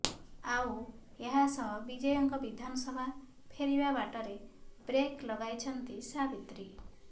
ଆଉ ଏହାସହ ବିଜୟଙ୍କ ବିଧାନସଭା ଫେରିବା ବାଟରେ ବ୍ରେକ ଲଗାଇଛନ୍ତି ସାବିତ୍ରୀ